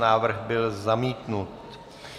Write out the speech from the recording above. Návrh byl zamítnut.